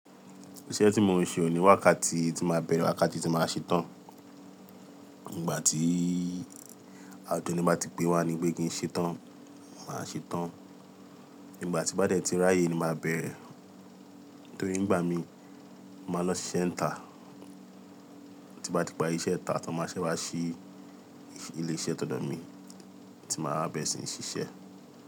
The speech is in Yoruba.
Ìṣe tí mo ń ṣe ò ní wákàtí tí máa bẹ̀rẹ̀, wákàtí tí máa ṣe tán. Nígbà tí à kini bá ti pé wá nípẹ̀ kí n ṣe tán, máa ṣe tán. Nígbà tí bá dẹ̀ tí ráyè ni màá bẹ̀rẹ̀. Nítorí nígbà mi, máa lọ sí ṣise ń tà tí bá ti pari iṣẹ́ ìta ni máa ṣẹ́ wá se ilé iṣẹ́ tọ̀ dọ̀ mi tí màá bẹ̀rẹ̀ sí ní ṣiṣẹ́.